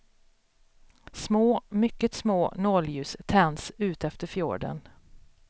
Små, mycket små nålljus, tänds utefter fjorden.